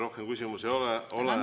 Rohkem küsimusi ei ole.